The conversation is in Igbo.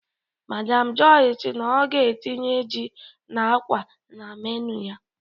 Madam Joy si na ọ ga-etinye ji na akwa na menu ya.